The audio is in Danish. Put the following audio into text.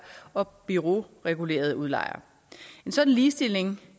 og bureauregulerede udlejere en sådan ligestilling